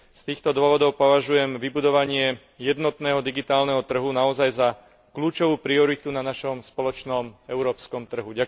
Z týchto dôvodov považujem vybudovanie jednotného digitálneho trhu naozaj za kľúčovú prioritu na našom spoločnom európskom trhu.